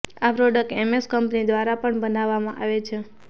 આ product Amaze company દ્વારા પણ બનાવવામાં આવે છે